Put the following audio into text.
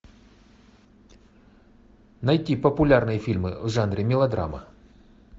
найти популярные фильмы в жанре мелодрама